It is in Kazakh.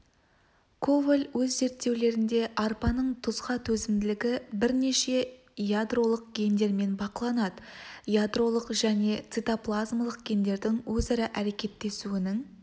коваль өз зерттеулерінде арпаның тұзға төзімділігі бірнеше ядролық гендермен бақыланады ядролық және цитоплазмалық гендердің өзара әрекеттесуінің